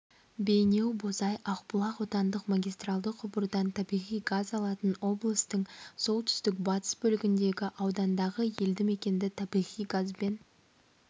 бейнеу-бозай-ақбұлақ отандық магистралды құбырдан табиғи газ алатын облыстың солтүстік-батыс бөлігіндегі аудандағы елді мекенді табиғи газбен